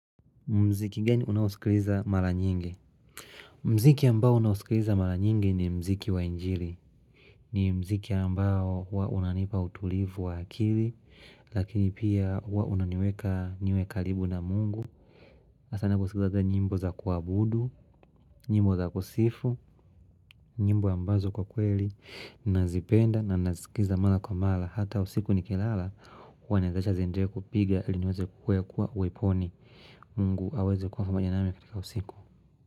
Mziki gani unaosikiliza mara nyingi? Mziki ambao unausikiliza mara nyingi ni mziki wa njiri. Ni mziki ambao huwa unanipa utulivu wa akili, lakini pia huwa unaniweka niwe karibu na Mungu. Sana kusikiliza njimbo za kuabudu, nyimbo za kusifu, nyimbo ambazo kwa kweli, nazipenda na nazikiliza mara kwa mara. Hata usiku ni kilala huwa naziacha ziendelee kupiga ili niweze kukuwa uweponi. Mungu aweze kuwa kuwa nami katika usiku.